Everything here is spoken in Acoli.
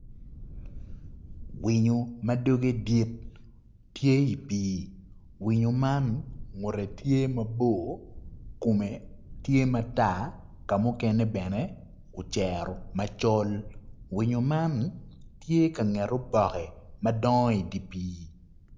Winyo ma dogge dit tye i pii winyo man ngutte tye mabor kume tye matar ka mukene oceru macol winyo man tye I ka nget opokke madongo idi pii